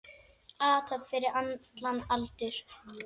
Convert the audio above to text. Athöfn fyrir allan aldur.